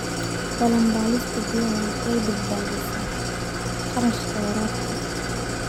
Balanbaalista biyaha waxay badbaadisaa kharashka waraabka.